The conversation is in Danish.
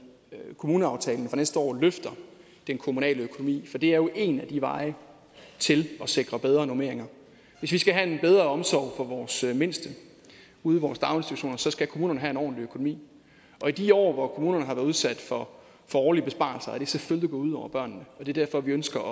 kommuneaftalen for næste år løfter den kommunale økonomi for det er jo en af vejene til at sikre bedre normeringer hvis vi skal have en bedre omsorg for vores mindste ude i vores daginstitutioner så skal kommunerne have en ordentlig økonomi og i de år hvor kommunerne har været udsat for for årlige besparelser er det selvfølgelig gået ud over børnene det er derfor vi ønsker